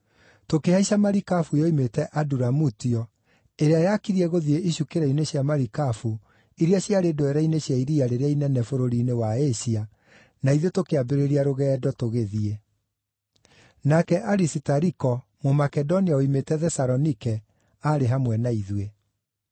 Tũkĩhaica marikabu yoimĩte Aduramutio ĩrĩa yakirie gũthiĩ icukĩro-inĩ cia marikabu iria ciarĩ ndwere-inĩ cia iria rĩrĩa inene bũrũri-inĩ wa Asia, na ithuĩ tũkĩambĩrĩria rũgendo tũgĩthiĩ. Nake Arisitariko, Mũmakedonia woimĩte Thesalonike, aarĩ hamwe na ithuĩ.